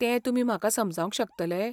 तें तुमी म्हाका समजावंक शकतले?